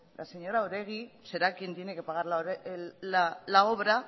la señora oregi será quien tiene que pagar la obra